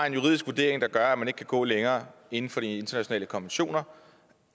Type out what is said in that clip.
en juridisk vurdering der gør at man ikke kan gå længere inden for de internationale konventioner